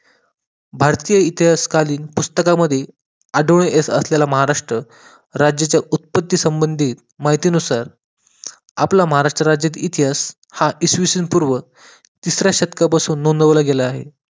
भारतीय इतिहासकालीन पुस्तकांमध्ये आढळून येत असलेला महाराष्ट्र राज्याच्या उत्पत्ती संबंधित माहितीनुसार आपल्या महाराष्ट्र राज्यचा इतिहास हा इसवी सन पूर्व तिसऱ्या शतकापासून नोंदवला गेला आहे